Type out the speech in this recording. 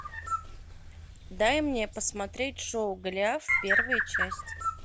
дай мне посмотреть шоу голиаф первая часть